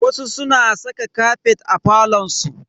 Wasu suna saka kafet a falon su.